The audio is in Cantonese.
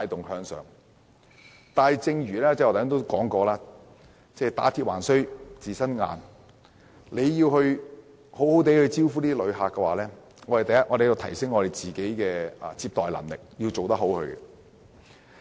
但是，正如我剛才說："打鐵還需自身硬"，要好好接待旅客，我們首先要提升自己的接待能力。